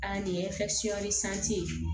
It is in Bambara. A nin ye ye